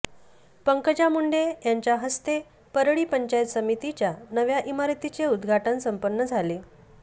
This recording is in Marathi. पंकजा मुंडे यांच्या हस्ते परळी पंचायत समितीच्या नव्या इमारतीचे उद्घाटन संपन्न झाले